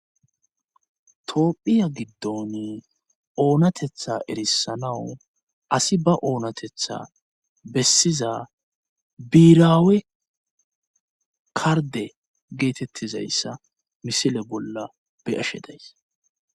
Toophphiya giddoni oonatetha erissanaw asi ba oonatetha bessiza biiraawe karde geetettizayssa misile bolla be ashe days.